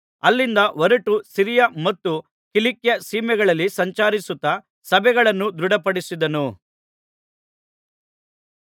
ಹೊರಟು ಸಿರಿಯ ಮತ್ತು ಕಿಲಿಕ್ಯ ಸೀಮೆಗಳಲ್ಲಿ ಸಂಚರಿಸುತ್ತಾ ಸಭೆಗಳನ್ನು ದೃಢಪಡಿಸಿದನು